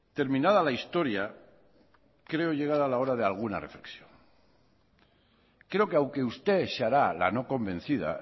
terminada la historia creo llegar a la hora de alguna reflexión creo que aunque usted se hará la no convencida